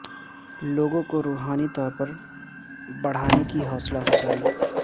لوگوں کو روحانی طور پر بڑھانے کی حوصلہ افزائی